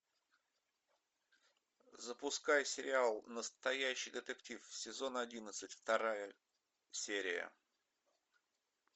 запускай сериал настоящий детектив сезон одиннадцать вторая серия